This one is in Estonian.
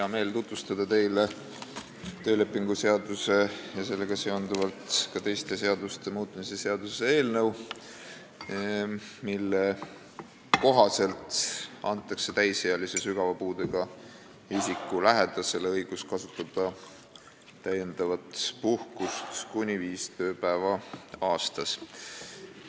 Hea meel on tutvustada teile töölepingu seaduse ja ka teiste seaduste muutmise seaduse eelnõu, mille kohaselt antakse täisealise sügava puudega isiku lähedasele õigus kasutada täiendavat puhkust kuni viis tööpäeva aastas.